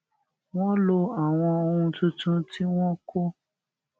wón lo àwọn ohun tuntun tí wón kó